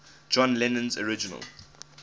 john lennon's original